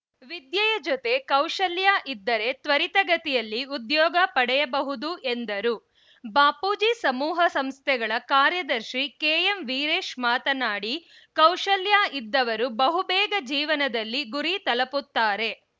ವಿದ್ಯೆಯ ಜೊತೆ ಕೌಶಲ್ಯ ಇದ್ದರೆ ತ್ವರಿತಗತಿಯಲ್ಲಿ ಉದ್ಯೋಗ ಪಡೆಯಬಹುದು ಎಂದರು ಬಾಪೂಜಿ ಸಮುಹ ಸಂಸ್ಥೆಗಳ ಕಾರ್ಯದರ್ಶಿ ಕೆಎಂ ವೀರೆಶ್‌ ಮಾತನಾಡಿ ಕೌಶಲ್ಯ ಇದ್ದವರು ಬಹುಬೇಗ ಜೀವನದಲ್ಲಿ ಗುರಿ ತಲುಪುತ್ತಾರೆ